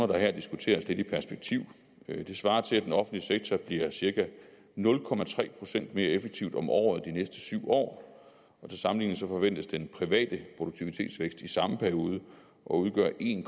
der her diskuteres lidt i perspektiv det svarer til at den offentlige sektor bliver cirka nul procent mere effektiv om året de næste syv år til sammenligning forventes den private produktivitetsvækst i samme periode at udgøre en